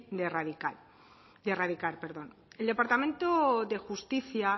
de erradicar el departamento de justicia